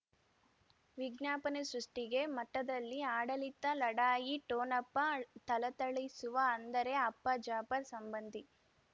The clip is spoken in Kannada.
ವಿಜ್ಞಾಪನೆ ಸೃಷ್ಟಿಗೆ ಮಠದಲ್ಲಿ ಆಡಳಿತ ಲಢಾಯಿ ಠೋಣಪ ಥಳಥಳಿಸುವ ಅಂದರೆ ಅಪ್ಪ ಜಾಫರ್ ಸಂಬಂಧಿ